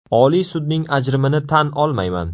Oliy sudning ajrimini tan olmayman.